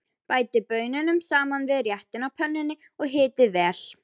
Bætið baununum saman við réttinn á pönnunni og hitið vel.